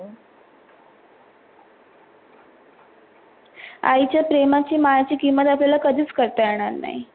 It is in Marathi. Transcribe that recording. आईच्या प्रेमाची मायेची किमत आपनला कधिच करता येनार नाहि.